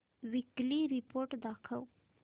weekly report दाखव